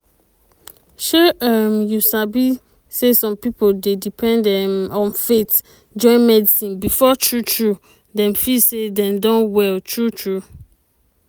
shey um you sabi say some pipo dey depend um on faith join medicine before true true dem feel say dem don well true true.